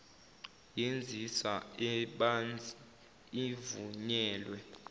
yenzisa ebanzi ivunyelwe